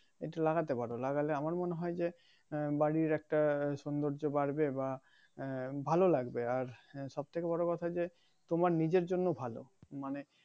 একটু লাগাতে পারো লাগালে আমার মনে হয় যে বাড়ির একটা সৌন্দর্য বাড়বে বা আহ ভালো লাগবে আর সব থেকে বড় কথা যে তোমার নিজের জন্য ভালো মানে